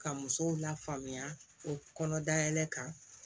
Ka musow lafaamuya o kɔnɔ dayɛlɛ kan